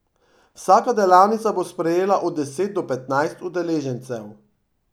Vsaka delavnica bo sprejela od deset do petnajst udeležencev.